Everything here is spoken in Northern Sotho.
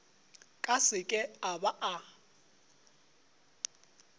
ka seke a ba a